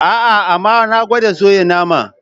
Aa, amma na gwada soya naman.